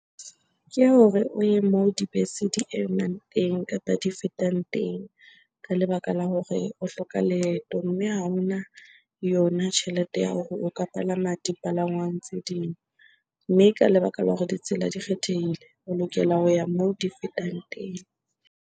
Ke hore o ye moo dibese di emang teng kapa di fetang teng ka lebaka la hore o hloka leeto mme ha hona yona tjhelete ya hore o ka palama dipalangwang tse ding. Mme ka lebaka la hore ditsela di kgethehile, o lokela ho ya moo di fetang teng.